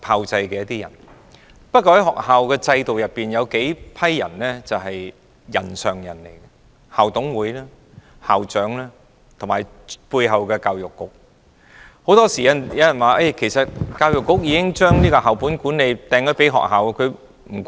在學校制度裏面，有一些人是"人上人"，就是校董會、校長，以及背後的教育局。很多時候都有人說，教育局將校本管理交給學校便與其無關。